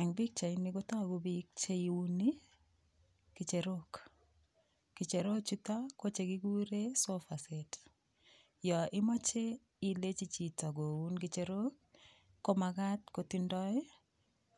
Eng pichaini kotagu biik cheuni kicherok. Kicherok chuton ko chekiguren sofaset. Yo imoche ilenji chito koun kicherok, ko magat kotindoi